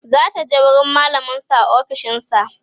zataje wurin mallamin su a ofishinsa